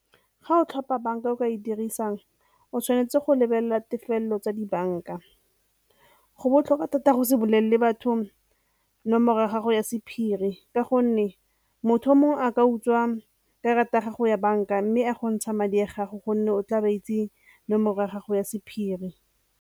Ga o tlhopha banka o ka e dirisang, o tshwanetse go lebelela tefelelo tsa dibanka. Go botlhokwa thata go se bolelele batho nomoro ya gago ya sephiri ka gonne motho o mongwe a ka utswa karata ya gago ya banka mme a go ntsha madi a gago gonne o tla ba itse nomoro ya gago ya sephiri.